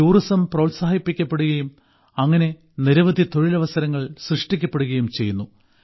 tourism പ്രോത്സാഹിപ്പിക്കപ്പെടുകയും അങ്ങിനെ നിരവധി തൊഴിലവസരങ്ങൾ സൃഷ്ടിക്കപ്പെടുകയും ചെയ്യുന്നു